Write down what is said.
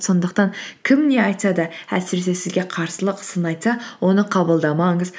сондықтан кім не айтса да әсіресе сізге қарсылық сын айтса оны қабылдамаңыз